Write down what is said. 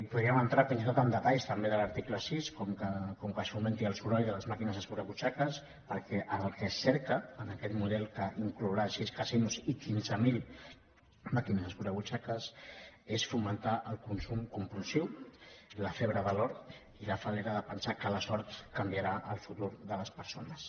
podríem entrar fins i tot en detalls també de l’article sis com que s’augmenti el soroll de les màquines escurabutxaques perquè el que es cerca en aquest model que inclourà sis casinos i quinze mil màquines escurabutxaques és fomentar el consum compulsiu la febre de l’or i la falde les persones